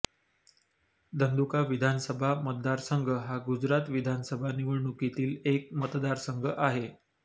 धंधुका विधानसभा मतदारसंघ हा गुजरात विधानसभा निवडणुकीतील एक मतदारसंघ आहे